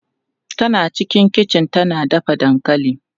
Tana cikin kichi tana dafa dankali.